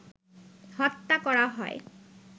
হত্যা করা হয়